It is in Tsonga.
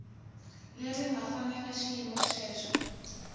leri nga fanela xiyimo xexo